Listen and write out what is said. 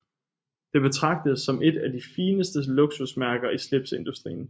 Det betragtes som et af de fineste luksusmærker i slipseindustrien